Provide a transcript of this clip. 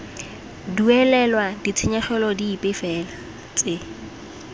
duelelwa ditshenyegelo dipe fela tse